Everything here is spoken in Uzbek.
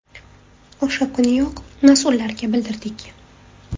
– O‘sha kuniyoq mas’ullarga bildirdik.